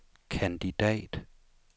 kandidat